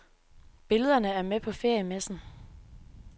Billederne er med på feriemessen.